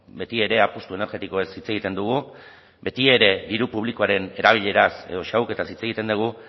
betiere apustu energetikoez hitz egiten dugu betiere diru publikoaren erabileraz edo xahuketaz hitz egiten dugu